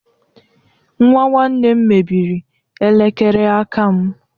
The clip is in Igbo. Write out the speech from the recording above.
Nwa nwanne m mebịrị elekere aka m